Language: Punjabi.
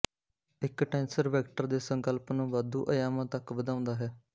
ਇੱਕ ਟੈਂਸਰ ਵੈਕਟਰ ਦੇ ਸੰਕਲਪ ਨੂੰ ਵਾਧੂ ਅਯਾਮਾਂ ਤੱਕ ਵਧਾਉਂਦਾ ਹੈ